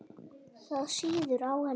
Það sýður á henni.